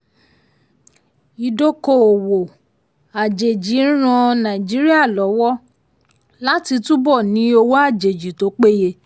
um ìdókòwò um àjèjì ń ràn nàìjíríà lọ́wọ́ um láti túbọ̀ ní owó àjèjì tó péye.